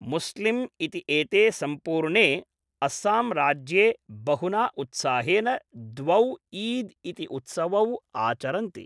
मुस्लिम् इति एते सम्पूर्णे अस्सामराज्ये बहुना उत्साहेन द्वौ ईद् इति उत्सवौ आचरन्ति।